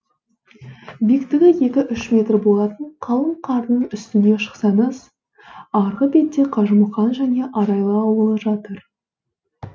биіктігі екі үш метр болатын қалың қардың үстіне шықсаңыз арғы бетте қажымұқан және арайлы ауылы жатыр